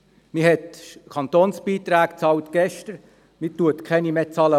Gestern wurden Kantonsbeiträge bezahlt, und morgen werden keine mehr bezahlt.